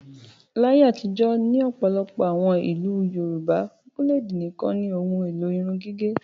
Láyé àtijọ́ ní ọ̀pọ̀lọpọ̀ àwọn ìlú Yorùbá búlédì nìkan ni ohun-èlò irun gígẹ̀.